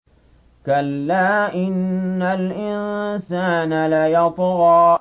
كَلَّا إِنَّ الْإِنسَانَ لَيَطْغَىٰ